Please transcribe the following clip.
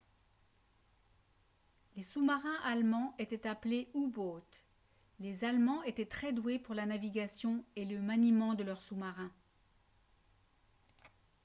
les sous-marins allemands étaient appelés u-boot les allemands étaient très doués pour la navigation et le maniement de leurs sous-marins